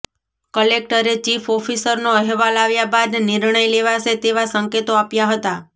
કલેકટરે ચીફ ઓફીસરનો અહેવાલ આવ્યા બાદ નિર્ણય લેવાશે તેવા સંકેતો આપ્યા હતા